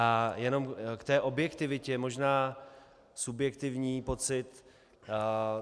A jenom k té objektivitě možná subjektivní pocit.